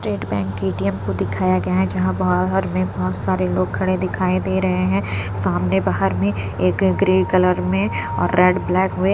state bank की ATM को दिखाया गया है जहाँ बाहर में बहुत सारे लोग खड़े दिखाई दे रहे हैं सामने बाहर में एक ग्रे कलर में और रेड ब्लैक में --